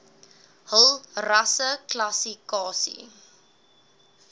hul rasseklassi kasie